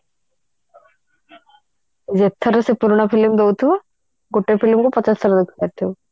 ଏଥର ସେଇ ପୁରୁଣା film ଦଉଥିବ ଗୋଟେ film ରେ ପଚାଶ ଥର ଦେଖି ପାରୁଥିବୁ